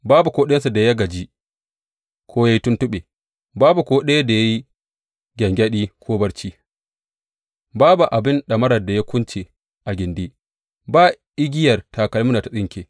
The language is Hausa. Babu ko ɗayansu da ya gaji ko ya yi tuntuɓe, babu ko ɗaya da ya yi gyangyaɗi ko barci; babu abin ɗamarar da ya kunce a gindi, ba igiyar takalmin da ta tsinke.